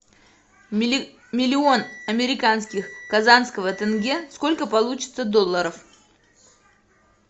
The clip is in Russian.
миллион американских казахского тенге сколько получится долларов